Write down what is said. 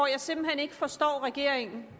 jeg simpelt hen ikke forstår regeringens